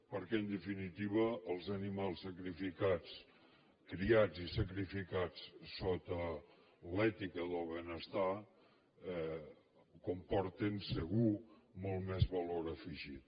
perquè en definitiva els animals sacrificats criats i sacrificats sota l’ètica del benestar comporten segur molt més valor afegit